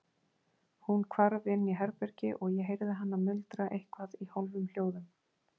Hún hvarf inn í herbergi og ég heyrði hana muldra eitthvað í hálfum hljóðum.